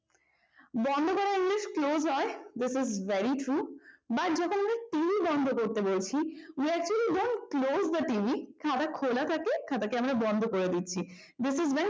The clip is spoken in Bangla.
বন্ধ করা english close হয় this is very true but যখন আমরা টিভি বন্ধ করতে বলছি we actually don't close the tv খোলা খোলা থাকে খাবার কি আমরা বন্ধ করে দিচ্ছি this is very